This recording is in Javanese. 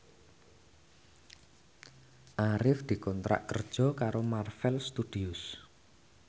Arif dikontrak kerja karo Marvel Studios